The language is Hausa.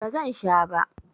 Ba zan sha ba.